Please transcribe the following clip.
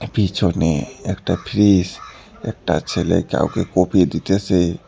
পিছনে একটা ফ্রিস একটা ছেলে কাউকে কোফি দিতেসে।